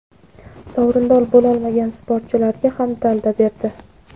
sovrindor bo‘lolmagan sportchilarga ham dalda berdi.